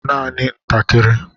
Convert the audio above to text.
Nanị nke ntakịrị